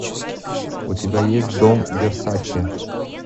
у тебя есть дом версаче